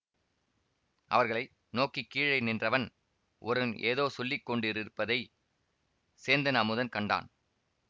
அவர்களை நோக்கி கீழே நின்றவன் ஒருவன் ஏதோ சொல்லி கொண்டிருப்பதைச் சேந்தன் அமுதன் கண்டான்